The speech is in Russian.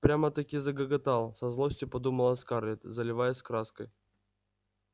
прямо-таки загоготал со злостью подумала скарлетт заливаясь краской